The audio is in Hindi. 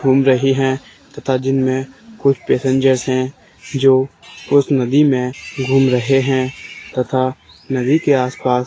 घूम रही हैं तथा जिन में कुछ पैसेंजर्स हैं जो उस नदी में घूम रहे हैं तथा नदी के आस पास --